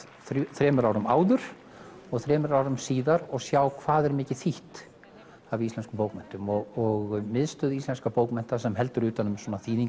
þremur árum áður og þremur árum síðar og sjá hvað er mikið þýtt af íslenskum bókmenntum og miðstöð íslenskra bókmennta sem heldur utan um